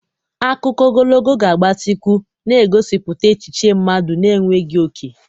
Akụkọ ogologo ga-agbatịkwu, na-egosipụta echiche mmadụ na-enweghị oke.